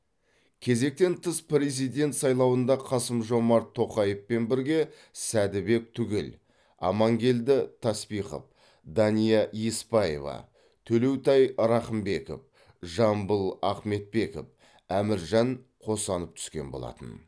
кезектен тыс президент сайлауында қасым жомарт тоқаевпен бірге сәді бек түгел амангелді таспихов дания еспаева төлеутай рахымбеков жамбыл ахметбеков әміржан қосанов түскен болатын